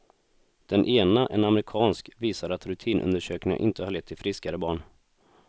Den ena, en amerikansk, visar att rutinundersökningarna inte har lett till friskare barn.